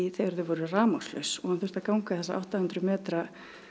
þegar þau voru rafmagnslaus og hann þurfti að ganga þessa átta hundruð metra